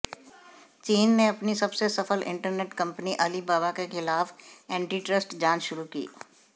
चीन ने अपनी सबसे सफल इंटरनेट कंपनी अलीबाबा के खिलाफ एंटीट्रस्ट जांच शुरू की